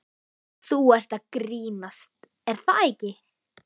Þú ert að grínast er það ekki?